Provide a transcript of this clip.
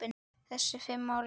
Þessi fimm ár eru